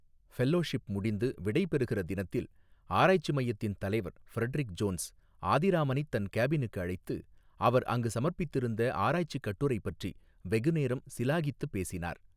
Fellowship முடிந்து விடைபெறுகிற தினத்தில் ஆராய்ச்சி மையத்தின் தலைவர் ஃபிரடெரிக் ஜோன்ஸ் ஆதிராமனைத் தன் கேபினுக்கு அழைத்து அவர் அங்கு சமர்ப்பித்திருந்த ஆராய்ச்சிக் கட்டுரை பற்றி வெகுநேரம் சிலாகித்துப் பேசினார்.